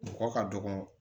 Mɔgɔ ka dɔgɔ